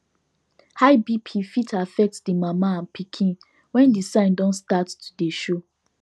high bp fit affect the mama and pikin when the sign don start to dey show